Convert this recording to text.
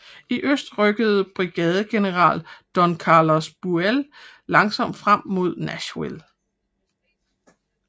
I øst rykkede brigadegeneral Don Carlos Buell langsomt frem mod Nashville